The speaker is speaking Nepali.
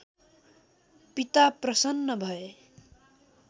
पिता प्रसन्न भए